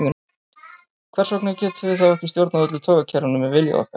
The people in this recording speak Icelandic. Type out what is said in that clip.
Hvers vegna getum við þá ekki stjórnað öllu taugakerfinu með vilja okkar?